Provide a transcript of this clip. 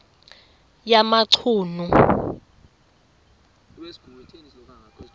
yamachunu